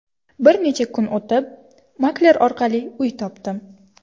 Bir necha kun o‘tib, makler orqali uy topdim.